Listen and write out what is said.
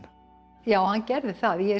já hann gerði það ég